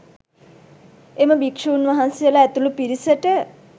එම භික්‍ෂූන් වහන්සේලා ඇතුළු පිරිසට